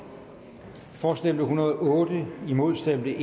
for stemte en hundrede og otte imod stemte